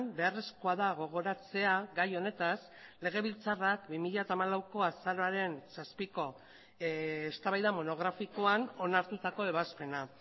beharrezkoa da gogoratzea gai honetaz legebiltzarrak bi mila hamalauko azaroaren zazpiko eztabaida monografikoan onartutako ebazpena